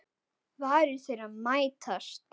Varir þeirra mætast.